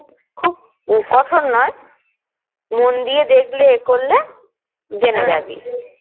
কঠোর নয় মন দিয়ে দেখলে করলে জেনে যাবি